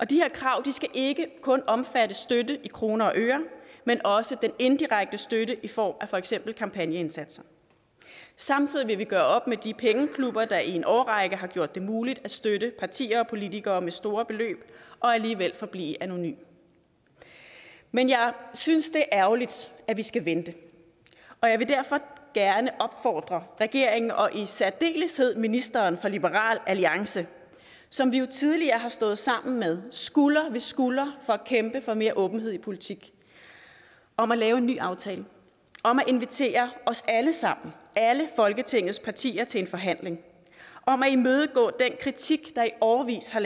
de her krav skal ikke kun omfatte støtte i kroner og øre men også den indirekte støtte i form af for eksempel kampagneindsatser samtidig vil vi gøre op med de pengeklubber der i en årrække har gjort det muligt at støtte partier og politikere med store beløb og alligevel forblive anonyme men jeg synes det er ærgerligt at vi skal vente jeg vil derfor gerne opfordre regeringen og i særdeleshed ministeren fra liberal alliance som vi jo tidligere har stået sammen med skulder ved skulder for at kæmpe for mere åbenhed i politik om at lave en ny aftale om at invitere os alle sammen alle folketingets partier til forhandling om at imødekomme den kritik der i årevis har